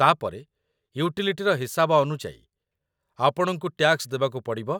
ତା'ପରେ, ୟୁଟିଲିଟିର ହିସାବ ଅନୁଯାୟୀ, ଆପଣଙ୍କୁ ଟ୍ୟାକ୍ସ ଦେବାକୁ ପଡ଼ିବ